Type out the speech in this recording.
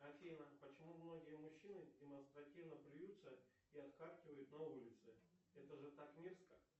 афина почему многие мужчины демонстративно плюются и отхаркивают на улице это же так мерзко